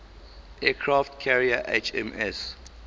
aircraft carrier hms